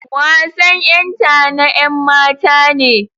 Wasan ƴenta na ƴanmata ne.